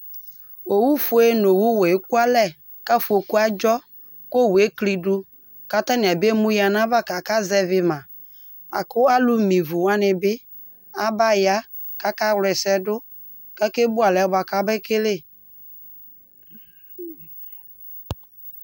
Owʋfue nʋ owʋwɛ ekʋ alɛ, kʋ afokʋ adzɔ, kʋ owʋ eklɩ dʋ, kʋ atanɩ abe mʋ ya nʋ ayʋ ava kʋ aka zɛvɩ ma Akʋ alʋ me ɩvʋ wanɩ bɩ aba ya kʋ aka wla ɛsɛ dʋ; kʋ ake bʋ alɛ bʋa kʋ abe kele